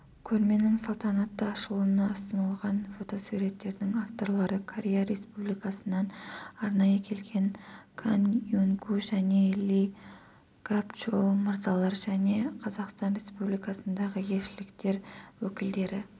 көрменің салтанатты ашылуына ұсынылған фотосуреттердің авторлары корея республикасынан арнайы келген кан унгу және ли гапчоль мырзалар және қазақстан республикасындағы елшіліктер өкілдері